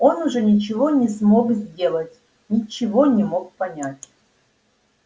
он уже ничего не смог сделать ничего не мог понять